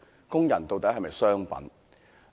工人究竟是否商品？